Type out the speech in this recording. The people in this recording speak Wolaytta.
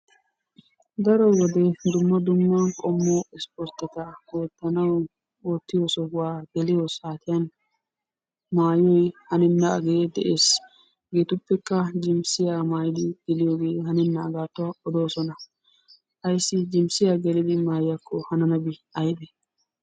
Daro wode dumma dumma qommo ispportteta oottanawu oottiyo sohuwa geliyo saatiyan maayoyi hanennaagee de'es. Hegeetuppekka jinssiya maayidi geliyogee hanennaagaattuwa odoosona. Ayssi jinssiya gelidi maayiyakko hananabi aybee?